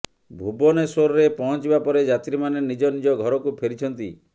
ଭୁବନେଶ୍ୱରେ ପହଞ୍ଚିବା ପରେ ଯାତ୍ରୀମାନେ ନିଜ ନିଜ ଘରକୁ ଫେରିଛନ୍ତି